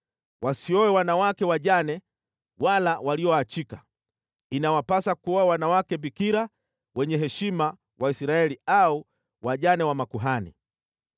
Wasioe wanawake wajane wala walioachika, inawapasa kuoa wanawake bikira wenye heshima wa Israeli au wajane wa makuhani.